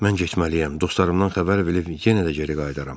Mən getməliyəm, dostlarımdan xəbər verib yenə də geri qayıdaram.